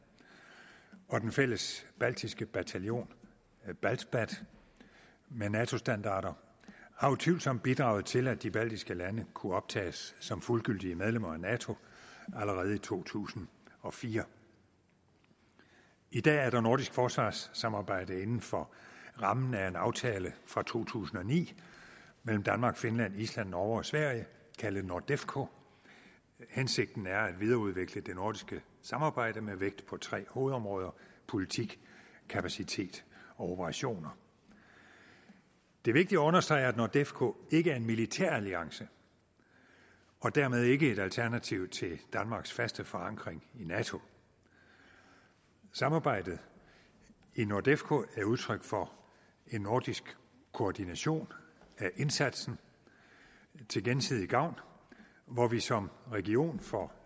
og den fælles baltiske bataljon baltbat med nato standarder har utvivlsomt bidraget til at de baltiske lande kunne optages som fuldgyldige medlemmer af nato allerede i to tusind og fire i dag er der nordisk forsvarssamarbejde inden for rammen af en aftale fra to tusind og ni mellem danmark finland island norge og sverige kaldet nordefco hensigten er at videreudvikle det nordiske samarbejde med vægt på tre hovedområder politik kapacitet og operationer det er vigtigt at understrege at nordefco ikke er en militæralliance og dermed ikke et alternativ til danmarks faste forankring i nato samarbejdet i nordefco er udtryk for en nordisk koordination af indsatsen til gensidig gavn hvor vi som region får